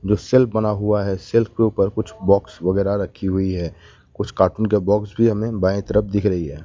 जो शेल्फ बना हुआ है शेल्फ के ऊपर कुछ बॉक्स वगैरा रखी हुई है कुछ कार्टून के बॉक्स भी हमें बाईं तरफ दिख रही है।